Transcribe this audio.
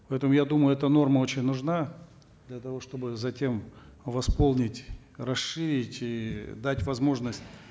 поэтому я думаю эта норма очень нужна для того чтобы затем восполнить расширить и дать возможность